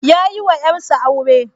Ya yiwa ƴarsa aure.